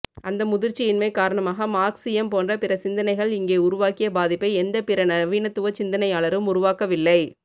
அந்த முதிர்ச்சியின்மை காரணமாக மார்க்ஸியம் போன்ற பிறசிந்தனைகள் இங்கே உருவாக்கிய பாதிப்பை எந்தப் பின்நவீனத்துவச் சிந்தனையாளரும் உருவாக்கவில்லை